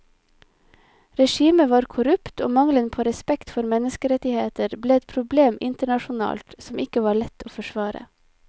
Regimet var korrupt og mangelen på respekt for menneskerettigheter ble et problem internasjonalt som ikke var lett å forsvare.